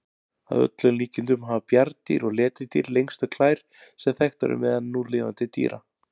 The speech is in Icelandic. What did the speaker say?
Að öllum líkindum hafa bjarndýr og letidýr lengstu klær sem þekktar eru meðal núlifandi dýra.